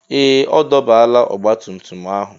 Ee! Ọ dọbala ọgbatumtum ahụ.